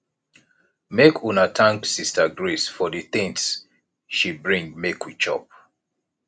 make una thank sister grace for the things she bring make we chop